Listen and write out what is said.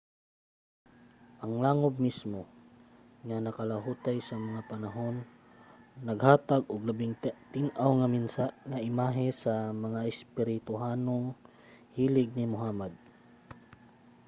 ang langob mismo nga nakalahutay sa mga panahon naghatag og labing tin-aw nga imahe sa mga espirituhanong hilig ni muhammad